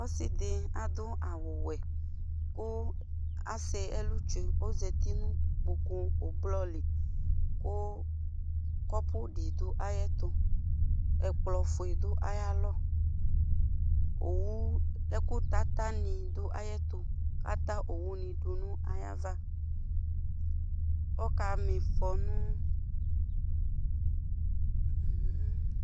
Ɔsɩdɩ adʋ awʋwɛ ,kʋ asɛ ɛlʋ tsue Ozati nʋ kpoku ʋblɔ li ,kʋ kɔpʋ dɩ dʋ ayɛtʋ ,ɛkplɔfue dɩ dʋ ayalɔ Owu ɛkʋtata nɩ dʋayɛtʋ ,ata owunɩ dʋ ayava ,akamɩfɔ nʋ